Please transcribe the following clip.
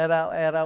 Era, era o...